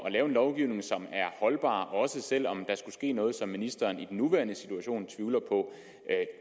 at lave en lovgivning som er holdbar også selv om der skulle ske noget som ministeren i den nuværende situation tvivler på